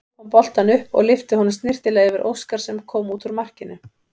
Hljóp hann boltann upp og lyfti honum snyrtilega yfir Óskar sem kom út úr markinu.